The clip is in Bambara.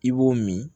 I b'o min